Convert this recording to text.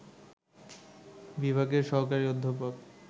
বিভাগের সহকারী অধ্যাপক